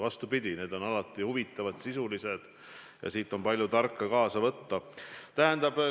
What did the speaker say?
Vastupidi, need on alati huvitavad, sisulised ja siit on palju tarka kaasa võtta.